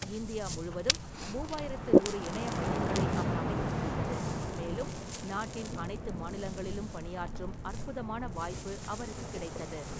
India முழுவதும் மூவாயிரத்து நூறு இணைய மையங்களை அவர் அமைக்க முடிந்தது, மேலும் நாட்டின் அனைத்து மாநிலங்களிலும் பணியாற்றும் அற்புதமான வாய்ப்பு அவருக்கு கிடைத்தது.